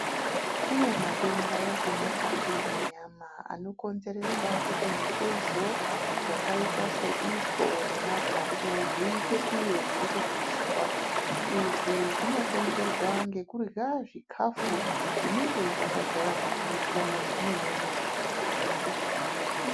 Kune matenda emukati mwenyama, anokonzeresa kuti mitezo yakaita seitsvo nemaphaphu zviite kunge zviri kupishwa. Izvi zvinokonzerwa ngekurya zvikhafu, zvinenge zvakadzara mafuta zvine munyu wakawandisa.